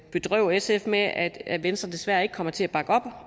bedrøve sf med at at venstre desværre ikke kommer til at bakke op